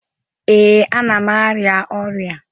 Ee, ana m arịa ọrịa.